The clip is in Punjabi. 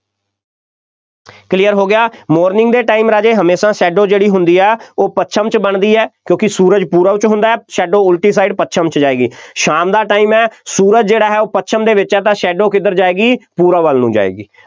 clear ਹੋ ਗਿਆ morning ਦੇ time ਰਾਜੇ ਹਮੇਸ਼ਾ shadow ਜਿਹੜੀ ਹੁੰਦੀ ਹੈ ਉਹ ਪੱਛਮ 'ਚ ਬਣਦੀ ਹੈ, ਕਿਉਂਕਿ ਸੂਰਜ ਪੂਰਬ ਵਿੱਚ ਹੁੰਦਾ ਹੈ, shadow ਉਲਟੀ side ਪੱਛਮ 'ਚ ਜਾਏਗੀ, ਸ਼ਾਮ ਦਾ time ਹੈ, ਸੂਰਜ ਜਿਹੜਾ ਹੈ ਉਹ ਪੱਛਮ ਦੇ ਵਿੱਚ ਹੈ ਤਾਂ shadow ਕਿਧਰ ਜਾਏਗੀ, ਪੂਰਬ ਵੱਲ ਨੂੰ ਜਾਏਗੀ।